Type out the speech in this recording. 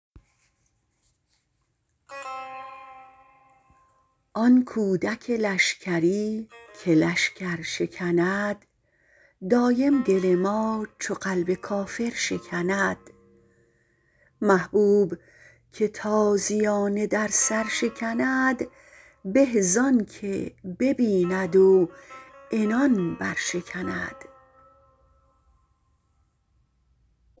آن کودک لشکری که لشکر شکند دایم دل ما چو قلب کافر شکند محبوب که تازیانه در سر شکند به زانکه ببیند و عنان برشکند